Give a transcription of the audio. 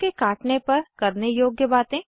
साँप के काटने पर करने योग्य बातें